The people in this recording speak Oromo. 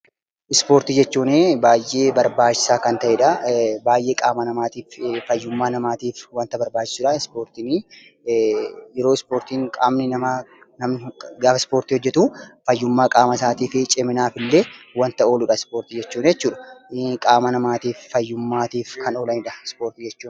Ispoortii jechuun baay'ee barbaachisaa kan ta’edha. Baay'ee qaama namaatiif fayyummaa namaatiif wanta barbaachisudha Ispoortiini. Yeroo namni Ispoortii hoojetu fayyummaa qaama isaatiif ciminaaf illee wanta ooludha Ispoortii jechuun jechuudha. Qaama namaaf fayyummaa namaaf kan oolanidha Ispoortii jechuun.